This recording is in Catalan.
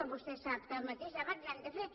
vostè sap que el mateix debat l’hem de fer